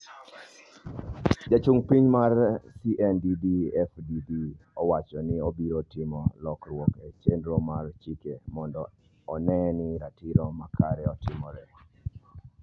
Jachung' mar CNDD FDD owacho ni obiro timo lokruok e chenro mar chike mondo one ni ratiro makare otimre